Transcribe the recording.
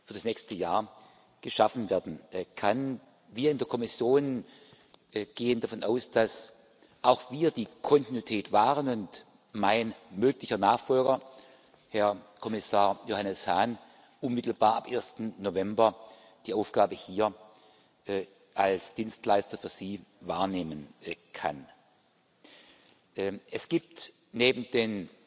für das nächste Jahr geschaffen werden kann. Wir in der Kommission gehen davon aus, dass auch wir die Kontinuität wahren und mein möglicher Nachfolger, Herr Kommissar Johannes Hahn, unmittelbar ab 1. November die Aufgabe hier als Dienstleister für Sie wahrnehmen kann. Es gibt neben